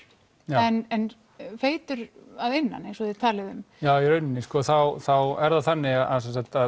en feitur að innan eins og þið talið um já í rauninni þá þá er það þannig að